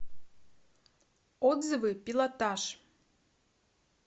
отзывы пилотаж